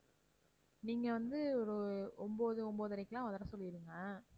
நீங்க வந்து ஒரு ஒன்பது, ஒன்பதரைக்கெல்லாம் வர சொல்லிடுங்க.